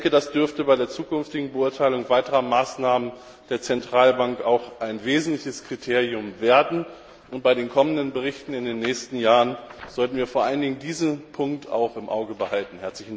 Das dürfte bei der zukünftigen Beurteilung weiterer Maßnahmen der Zentralbank auch ein wesentliches Kriterium werden, und bei den kommenden Berichten in den nächsten Jahren sollten wir vor allen Dingen auch diesen Punkt im Auge behalten.